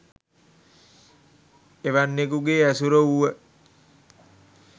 එවැන්නෙකුගේ ඇසුර වුව